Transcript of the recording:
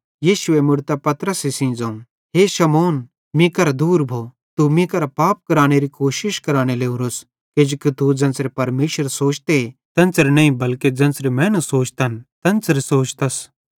यीशुए मुड़तां पतरसे सेइं ज़ोवं हे शैतान मीं करां दूर भो तू मीं करां पाप करानेरी कोशिश कराने लोरोस किजोकि तू ज़ेन्च़रे परमेशर सोचते तेन्च़रे नईं बल्के ज़ेन्च़रे मैनू सोचन तेन्च़रे सोचतस